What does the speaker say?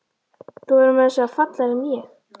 Þú verður meira að segja fallegri en ég.